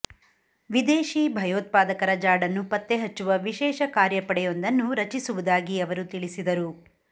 ವಿದೇಶಿ ಭಯೋತ್ಪಾದಕರ ಜಾಡನ್ನು ಪತ್ತೆಹಚ್ಚುವ ವಿಶೇಷ ಕಾರ್ಯಪಡೆಯಾಂದನ್ನು ರಚಿಸುವುದಾಗಿ ಅವರು ತಿಳಿಸಿದರು